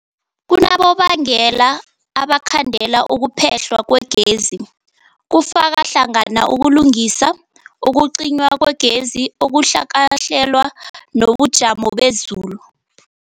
Kunabonobangela abangakhandela ukuphehlwa kwegezi, kufaka hlangana ukulungisa, ukucinywa kwegezi okungakahlelwa, nobujamo bezulu.